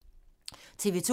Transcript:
TV 2